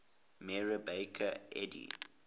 mary baker eddy